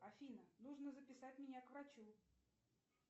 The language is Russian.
афина нужно записать меня к врачу